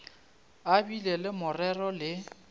a bile le morero le